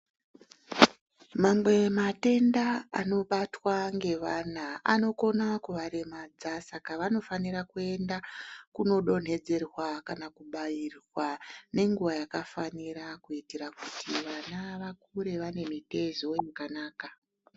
Mamwe matenda anobatwa ngevana anokona kuvaremadza, saka vanofanira kuenda kunodonhedzerwa kana kubairwa nenguwa yakafanira kuitira kuti vana vakure vane mitezo yakanaka.